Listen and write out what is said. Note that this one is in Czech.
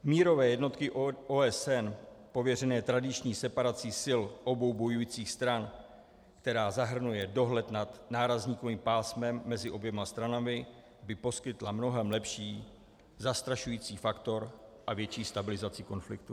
Mírové jednotky OSN pověřené tradiční separací sil obou bojujících stran, která zahrnuje dohled nad nárazníkovým pásmem mezi oběma stranami, by poskytla mnohem lepší zastrašující faktor a větší stabilizaci konfliktů.